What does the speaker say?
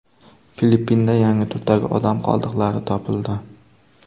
Filippinda yangi turdagi odam qoldiqlari topildi .